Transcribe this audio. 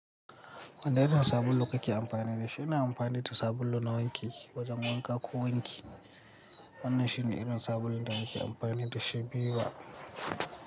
Wanne irin sabulu kake amfani da shi? Ina amfani da sabulu na wanki wajen wanka ko wanki. Wannan shine irin sabulun da nake amfani da shi Viva.